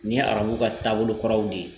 Nin ye arabuw ka taabolo kuraw de ye